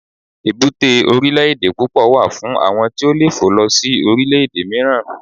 èbúté orilẹ ede púpò wà fún àwọn tí o fe lo si orile ede miiran